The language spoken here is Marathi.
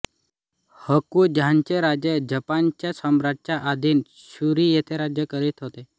होकुझानचे राजे जपानच्या सम्राटच्या अधीन शुरी येथे राज्य करीत होते